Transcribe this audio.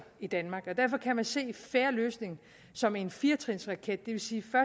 i danmark og derfor kan man se en fair løsning som en firetrinsraket det vil sige at